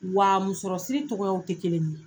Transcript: Wa musɔrɔsiri tɔgɔyaw te kelen ye